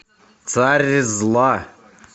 царь зла